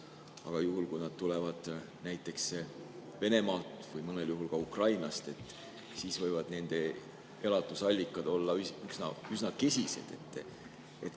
Aga juhul, kui nad tulevad näiteks Venemaalt või mõnel juhul ka Ukrainast, võivad nende elatusallikad olla üsna kesised.